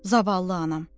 Zavallı anam.